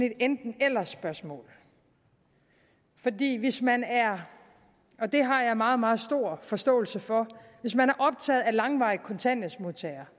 et enten eller spørgsmål fordi hvis man er og det har jeg meget meget stor forståelse for optaget af langvarige kontanthjælpsmodtagere